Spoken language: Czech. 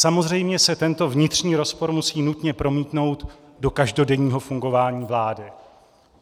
Samozřejmě se tento vnitřní rozpor musí nutně promítnout do každodenního fungování vlády.